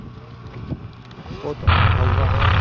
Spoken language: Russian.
фото халва